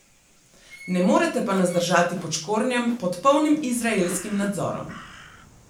Ne morete pa nas držati pod škornjem, pod polnim izraelskim nadzorom.